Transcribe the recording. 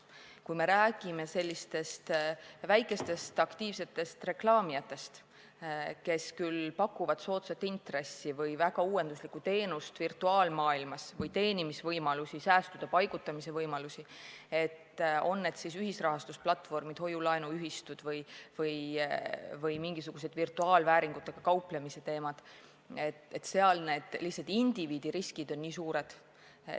Kui me räägime väikestest aktiivsetest reklaamijatest, kes küll pakuvad soodsat intressi või väga uuenduslikku teenust virtuaalmaailmas või muid teenimisvõimalusi, säästude paigutamise võimalusi – on need siis ühisrahastusplatvormid, hoiu-laenuühistud või mingisugused virtuaalvääringutega kauplevad ettevõtjad –, siis seal ikkagi indiviidi riskid on suured.